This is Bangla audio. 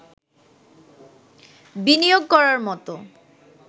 বিনিয়োগ করার মতো